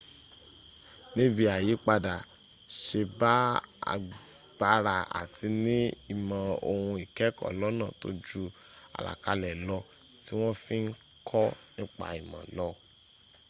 níbí àyípadà se bá agbára àti ní ìmọ̀ òhun ìkẹ́ẹ̀kọ́ lọ́nà tó ju àlàkalẹ̀ lọ tí wọ́n fi ń kọ́ nipa ìmọ̀ lọ